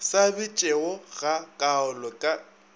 sa bitšego ga kaalo ka